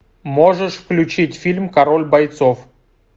можешь включить фильм король бойцов